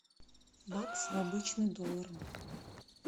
бакс в обычный доллар